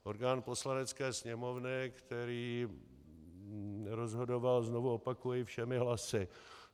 Orgán Poslanecké sněmovny, který rozhodoval, znovu opakuji, všemi hlasy.